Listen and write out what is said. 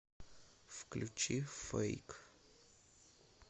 включи фейк